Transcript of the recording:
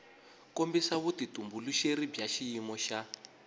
kombisa vutitumbuluxeri bya xiyimo xa